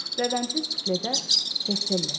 Rəvəndli sufle də tefteller.